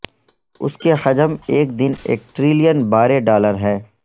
اس کے حجم ایک دن ایک ٹریلین بارے ڈالر ہے